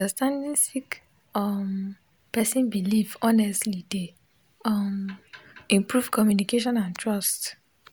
understanding sik um person bilif honestly dey um improve communication and trust